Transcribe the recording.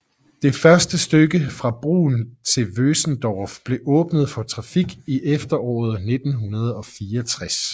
Det første stykke fra Brunn til Vösendorf blev åbnet for trafik i efteråret 1964